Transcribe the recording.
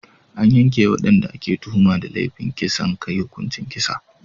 An yanke wa wadanda ake tuhuma da laifin kisan kai hukuncin kisa.